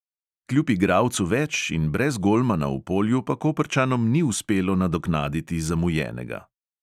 Kljub igralcu več in brez golmana v polju pa koprčanom ni uspelo nadoknaditi zamujenega.